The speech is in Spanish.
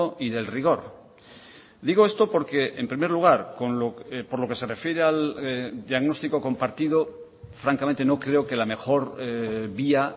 y del rigor digo esto porque en primer lugar por lo que se refiere al diagnóstico compartido francamente no creo que la mejor vía